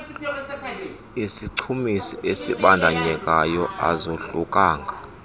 sisichumisi esibandakanyekayo azohlukanga